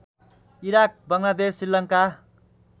Iraq Bangladesh Sri Lanka